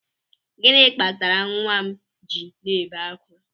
Gịnị kpatara nwa m ji na-ebe ákwà?